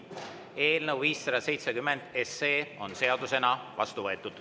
Eelnõu 570 on seadusena vastu võetud.